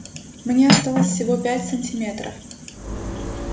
мне осталось всего пять сантиметров